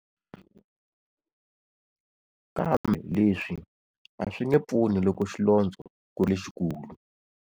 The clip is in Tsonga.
Kambe leswi a swi nge pfuni loko xilondzo ku ri lexikulu.